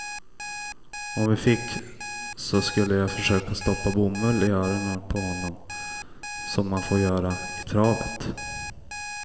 Om vi fick så skulle jag försöka stoppa bomull i öronen på honom som man får göra i travet.